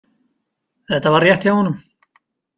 Þetta var rétt hjá honum.